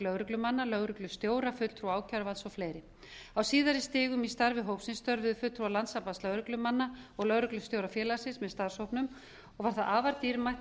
lögreglumanna lögreglustjóra fulltrúa ákæruvalds og fleiri a síðari stigum í starfi hópsins störfuðu fulltrúar landssambands lögreglumanna og lögreglustjórafélagsins með starfshópnum og var það afar dýrmætt